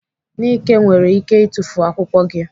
Nike nwere ike itufu akwụkwọ gị.